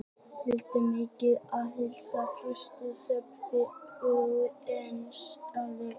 Foreldrar mínir voru áhyggjufullir, en fóstra okkar sagði upp úr eins manns hljóði